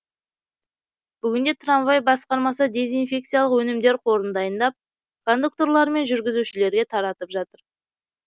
бүгінде трамвай басқармасы дезинфекциялық өнімдер қорын дайындап кондукторлар мен жүргізушілерге таратып жатыр